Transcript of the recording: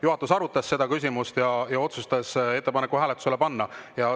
Juhatus arutas seda küsimust ja otsustas ettepaneku hääletusele panna.